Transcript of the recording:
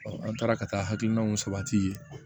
an taara ka taa hakilinaw sabati